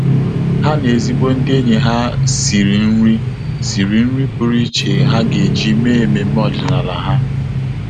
Há na ezigbo ndị ényì ha sìrì nrí sìrì nrí pụ́rụ́ iche há gà-éjí mèé ememe ọ́dị́nála ha.